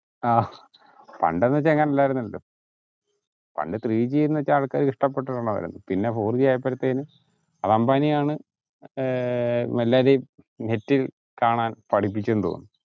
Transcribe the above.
ആഹ് പണ്ടെന്ന വച്ച ഇങ്ങനെ അലർന്നല്ലോ പണ്ട് ത്രീ ജി ന്ന് വച്ചാ ആൾക്കാർ ഇഷ്ടപെടുന്നയാ പിന്നെ ഫോർ ജി ആയപ്പഴത്തേലും അത് അംബാനിയാണ് ഏർ എല്ലാരേം net കാണാൻ പഠിപ്പിച്ചെന്ന് തോന്നു